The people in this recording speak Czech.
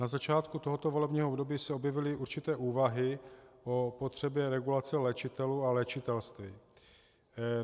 Na začátku tohoto volebního období se objevily určité úvahy o potřebě regulace léčitelů a léčitelství.